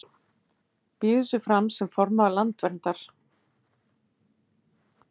Býður sig fram sem formaður Landverndar